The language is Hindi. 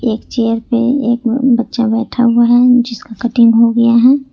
एक चेयर पे एक बच्चा बैठा हुआ है जिसकी कटिंग हो गया है।